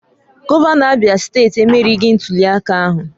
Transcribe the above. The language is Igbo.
Gọvanọ Abia steeti emerieghị ntuliaka ahụ